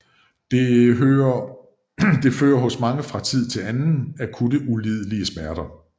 Det fører hos mange fra tid til anden akutte ulidelige smerter